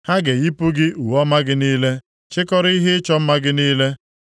Ha ga-eyipụ gị uwe ọma gị niile, chikọrọ ihe ịchọ mma gị niile.